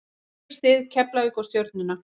Ég styð Keflavík og Stjörnuna.